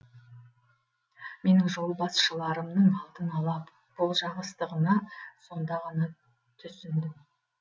менің жолбасшыларымның алдын ала болжағыштығына сонда ғана түсіндім